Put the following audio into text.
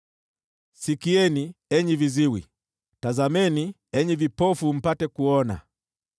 “Sikieni, enyi viziwi; tazameni, enyi vipofu, mpate kuona!